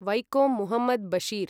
Vaikom Muhammad Basheer